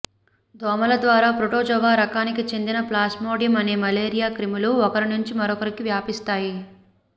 దోమల ద్వారా ప్రోటోజోవా రకానికి చెందిన ప్లాస్మోడియం అనే మలేరియా క్రిములు ఒకరి నుంచి మరొకరికి వ్యాపిస్తాయి